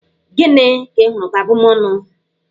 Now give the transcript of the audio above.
Gịnị ka ịhụrụ ka abụmónù?